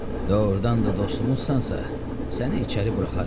Doğrudan da dostumuzsansan, səni içəri buraxarıq.